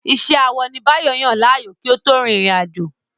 Iṣẹ́ awọ ni Báyọ̀ yàn láàyò kí ó tó rin ìrìn àjò.